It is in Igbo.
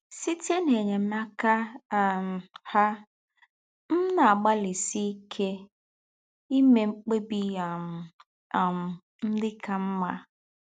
Sītè n’ényémáká um hà, m na-àgbálísí íké ímè mkpèbì̀ um um ndị̀ kà mmà